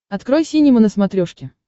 открой синема на смотрешке